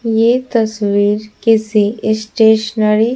ये तस्वीर किसी स्टेशनरी --